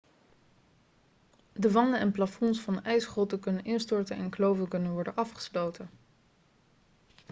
de wanden en plafonds van ijsgrotten kunnen instorten en kloven kunnen worden afgesloten